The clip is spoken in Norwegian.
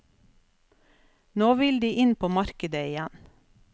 Nå vil de inn på markedet igjen.